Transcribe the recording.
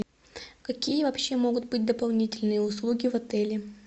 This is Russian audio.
какие вообще могут быть дополнительные услуги в отеле